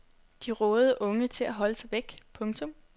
De rådede unge til at holde sig væk. punktum